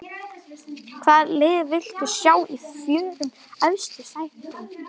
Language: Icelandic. Hvaða lið viltu sjá í fjórum efstu sætunum?